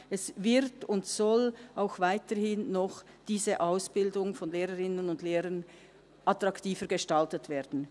Diese Ausbildung von Lehrerinnen und Lehrern wird und soll auch weiterhin noch attraktiver gestaltet werden.